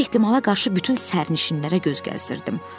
Hər ehtimala qarşı bütün sərnişinlərə göz gəzdirdim.